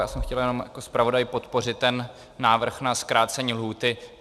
Já jsem chtěl jenom jako zpravodaj podpořit ten návrh na zkrácení lhůty.